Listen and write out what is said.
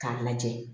K'a lajɛ